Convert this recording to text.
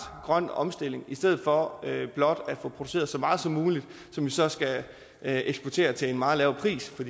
grøn omstilling i stedet for blot at få produceret så meget som muligt som vi så skal eksportere til en meget lav pris for